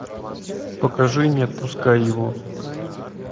покажи не отпускай его